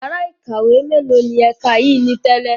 Yàrá ìkàwé mélòó ni ẹ̀ka yìí ni tẹ́lẹ̀?